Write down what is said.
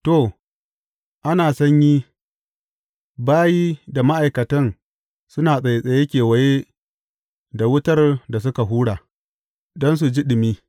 To, ana sanyi, bayi da ma’aikatan suna tsattsaye kewaye da wutar da suka hura don su ji ɗumi.